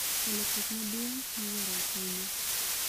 E lokruok maduong� miwuoro ahinya,